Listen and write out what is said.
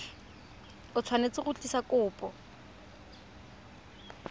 o tshwanetse go tlisa kopo